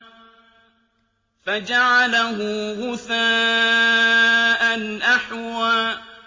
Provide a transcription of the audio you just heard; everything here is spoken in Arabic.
فَجَعَلَهُ غُثَاءً أَحْوَىٰ